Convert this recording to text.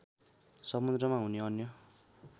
समुद्रमा हुने अन्य